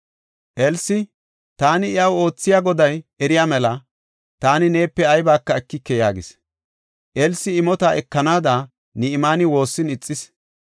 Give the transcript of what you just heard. Elsi, “Taani iyaw oothiya Goday eriya mela, taani neepe aybaka ekike” yaagis. Elsi imota ekanaada Ni7imaani woossin ixis.